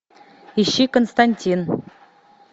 ищи константин